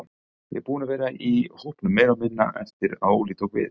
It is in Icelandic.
Ég er búinn að vera í hópnum meira og meira eftir að Óli tók við.